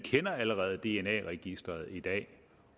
allerede kender dna registeret i dag